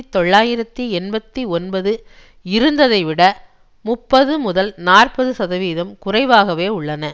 தொள்ளாயிரத்தி எண்பத்தி ஒன்பது இருந்ததைவிட முப்பது முதல் நாற்பது சதவீதம் குறைவாகவே உள்ளன